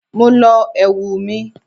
Mo lọ ẹ̀wù mi.